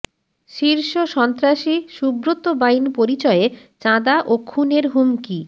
শীর্ষ সন্ত্রাসী সুব্রত বাইন পরিচয়ে চাঁদা ও খুনের হুমকি